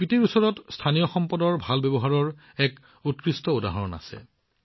স্পিতিত স্থানীয় সম্পদৰ উন্নত ব্যৱহাৰৰ এক উৎকৃষ্ট উদাহৰণ আছে